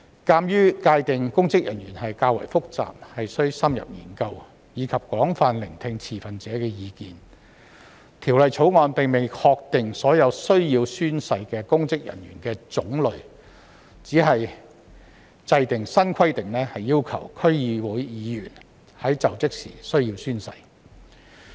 鑒於界定公職人員較為複雜，須深入研究，以及應廣泛聆聽持份者的意見，《條例草案》並未確定所有需要宣誓的公職人員的種類，只制訂新規定，要求區議會議員須在就職時宣誓。